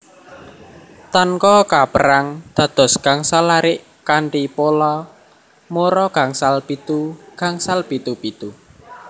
Tanka kaperang dados gangsal larik kanthi pola mora gangsal pitu gangsal pitu pitu